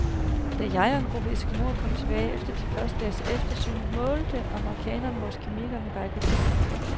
Da jeg og en gruppe eskimoer kom tilbage efter den første dags eftersøgning, målte amerikanerne vores kamikker med geigertæller.